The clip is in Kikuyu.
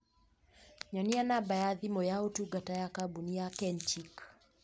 Nyonia namba ya thimũ yaũtungata ya kambũni ya kenchic